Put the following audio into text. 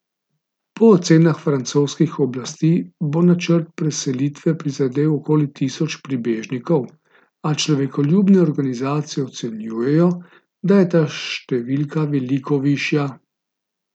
Po ocenah francoskih oblasti bo načrt preselitve prizadel okoli tisoč prebežnikov, a človekoljubne organizacije ocenjujejo, da je ta številka veliko višja.